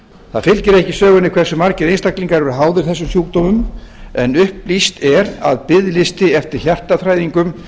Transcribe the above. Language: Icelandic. það fylgir ekki sögunni hversu margir einstaklingar eru háðir þessum sjúkdómum en upplýst er að biðlisti eftir hjartaþræðingum